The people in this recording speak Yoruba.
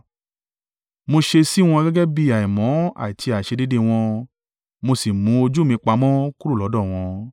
Mo ṣe sí wọn gẹ́gẹ́ bí àìmọ́ àti àìṣedéédéé wọn, mo sì mú ojú mi pamọ́ kúrò lọ́dọ̀ wọn.